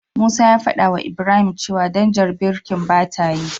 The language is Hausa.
Musa ya fadawa Ibrahim cewa danjar birkin bata aiki.